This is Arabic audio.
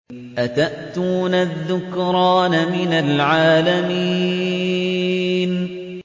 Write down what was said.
أَتَأْتُونَ الذُّكْرَانَ مِنَ الْعَالَمِينَ